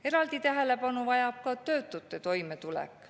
Eraldi tähelepanu vajab ka töötute toimetulek.